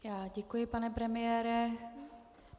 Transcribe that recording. Já děkuji, pane premiére.